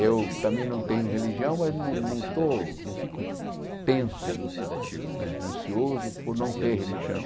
Eu também não tenho religião, mas não não estou não fico tenso, né ansioso por não ter religião.